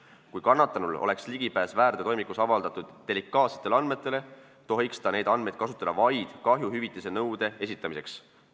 Kui kannatanul oleks ligipääs väärteotoimikus avaldatud delikaatsetele andmetele, tohiks ta neid andmeid kasutada vaid kahjuhüvitise nõude esitamiseks.